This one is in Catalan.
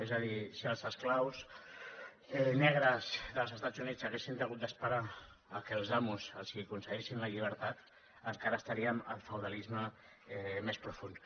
és a dir si els esclaus negres dels estats units haguessin hagut d’esperar que els amos els concedissin la llibertat encara estaríem en el feudalisme més profund